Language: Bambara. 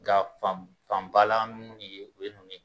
Nka fanbalan minnu ye o ye ninnu ye